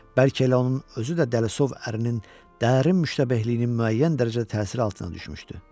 Bəlkə elə onun özü də Delisov ərinin dərin müştabehliyinin müəyyən dərəcədə təsiri altına düşmüşdü.